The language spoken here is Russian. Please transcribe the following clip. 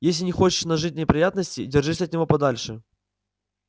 если не хочешь нажить неприятностей держись от него подальше